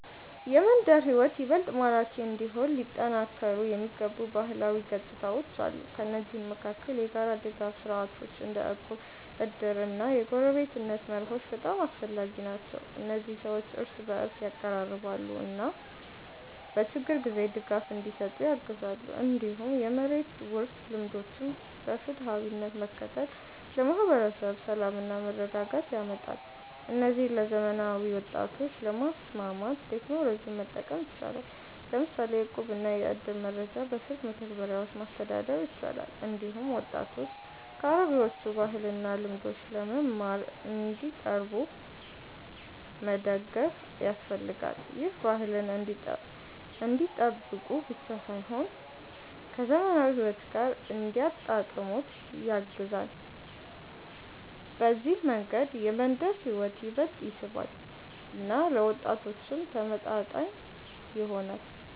የመንደር ሕይወት ይበልጥ ማራኪ እንዲሆን ሊጠናከሩ የሚገቡ ባህላዊ ገጽታዎች አሉ። ከእነዚህ መካከል የጋራ ድጋፍ ስርዓቶች እንደ እቁብ፣ እድር እና የጎረቤትነት መርሆች በጣም አስፈላጊ ናቸው። እነዚህ ሰዎችን እርስ በእርስ ያቀራርባሉ እና በችግር ጊዜ ድጋፍ እንዲሰጡ ያግዛሉ። እንዲሁም የመሬት ውርስ ልምዶችን በፍትሃዊነት መከተል ለማህበረሰብ ሰላምና መረጋጋት ያመጣል። እነዚህን ለዘመናዊ ወጣቶች ለማስማማት ቴክኖሎጂን መጠቀም ይቻላል፤ ለምሳሌ የእቁብና የእድር መረጃ በስልክ መተግበሪያዎች ማስተዳደር ይቻላል። እንዲሁም ወጣቶች ከአሮጌዎቹ ባህልና ልምዶች ለመማር እንዲቀርቡ መደገፍ ያስፈልጋል። ይህ ባህልን እንዲጠብቁ ብቻ ሳይሆን ከዘመናዊ ሕይወት ጋር እንዲያጣጣሙት ያግዛል። በዚህ መንገድ የመንደር ሕይወት ይበልጥ ይስባል እና ለወጣቶችም ተመጣጣኝ ይሆናል።